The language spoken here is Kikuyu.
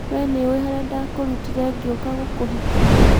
we nĩũi harĩa ndakũrutire ngĩũka gũkũhikia.